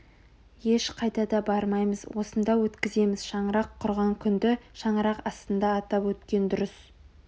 ешқайда да бармаймыз осында өткіземіз шаңырақ құрған күнді шаңырақ астында атап өткен дұрыс